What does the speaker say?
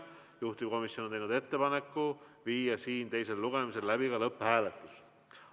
Juhtivkomisjon on teinud ettepaneku viia teisel lugemisel läbi ka lõpphääletus.